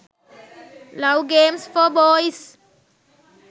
love games for boys